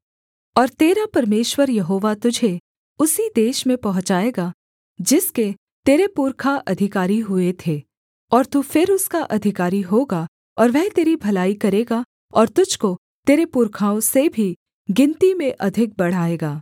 और तेरा परमेश्वर यहोवा तुझे उसी देश में पहुँचाएगा जिसके तेरे पुरखा अधिकारी हुए थे और तू फिर उसका अधिकारी होगा और वह तेरी भलाई करेगा और तुझको तेरे पुरखाओं से भी गिनती में अधिक बढ़ाएगा